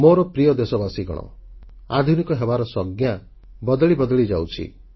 ମୋର ପ୍ରିୟ ଦେଶବାସୀଗଣ ଆଧୁନିକ ହେବାର ସଂଜ୍ଞା ବଦଳି ବଦଳିଯାଉଛି